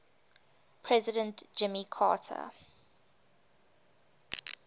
president jimmy carter